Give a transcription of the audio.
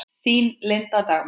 Þín, Linda Dagmar.